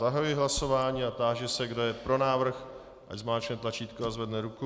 Zahajuji hlasování a táži se, kdo je pro návrh, ať zmáčkne tlačítko a zvedne ruku.